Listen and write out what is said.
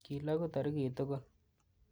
Kilogu toritik tugul.